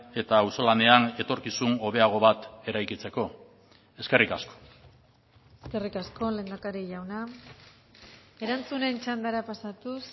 eta auzolanean etorkizun hobeago bat eraikitzeko eskerrik asko eskerrik asko lehendakari jauna erantzunen txandara pasatuz